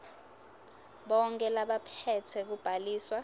bonkhe labaphetse kubhaliswa